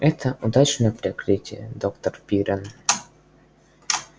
это удачное прикрытие доктор пиренн